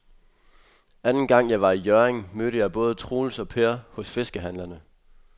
Anden gang jeg var i Hjørring, mødte jeg både Troels og Per hos fiskehandlerne.